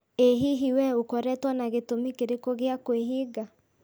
ĩ hihi we ũkoretwo na gĩtũmi kĩrĩkũ gĩa kwĩhinga?